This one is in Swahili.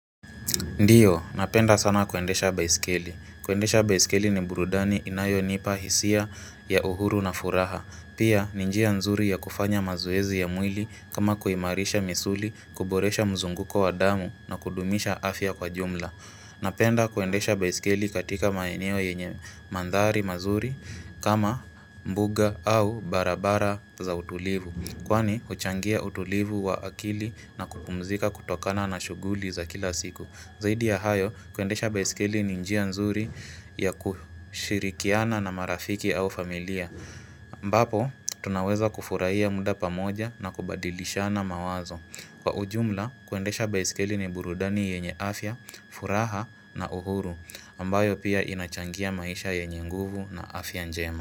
Ndiyo, napenda sana kuendesha baiskeli. Kuendesha baiskeli ni burudani inayo nipa hisia ya uhuru na furaha. Pia, ni njia nzuri ya kufanya mazoezi ya mwili kama kuimarisha misuli, kuboresha mzunguko wa damu na kudumisha afya kwa jumla. Napenda kuendesha baisikeli katika maeneo yenye mandhari mazuri kama mbuga au barabara za utulivu. Kwani, huchangia utulivu wa akili na kupumzika kutokana na shuguli za kila siku. Zaidi ya hayo, kuendesha baiskeli ni njia nzuri ya kushirikiana na marafiki au familia. Ambapo, tunaweza kufurahia muda pamoja na kubadilishana mawazo. Kwa ujumla, kuendesha baiskeli ni burudani yenye afya, furaha na uhuru, ambayo pia inachangia maisha yenye nguvu na afya njema.